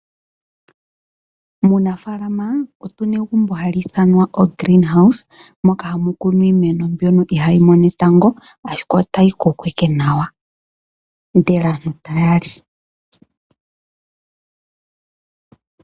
Muunafalama otu na egumbo hali ithanwa oGreenhouse moka hamu kunwa iimeno mboka ihayi mono etango, ashike otayi koko owala nawa, ndele aantu taya li.